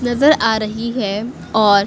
नजर आ रही है और--